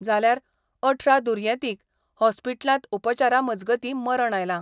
जाल्यार अठरा दुर्येतींक हॉस्पिटलांत उपचारा मजगतीं मरण आयलां.